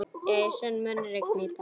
Jason, mun rigna í dag?